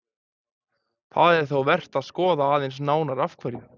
Það er þó vert að skoða aðeins nánar af hverju.